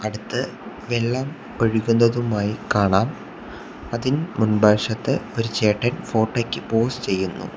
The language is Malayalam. അടുത്ത് വെള്ളം ഒഴുകുന്നതുമായി കാണാം അതിൻ മുൻബശത്ത് ഒരു ചേട്ടൻ ഫോട്ടോ യ്ക്ക് പോസ് ചെയ്യുന്നു.